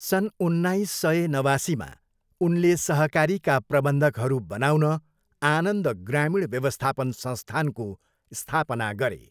सन उन्नाइस सय नवासीमा, उनले सहकारीका प्रबन्धकहरू बनाउन आनन्द ग्रामीण व्यवस्थापन संस्थानको स्थापना गरे।